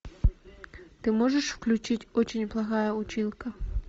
ты можешь включить очень плохая училка